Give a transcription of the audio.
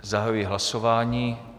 Zahajuji hlasování.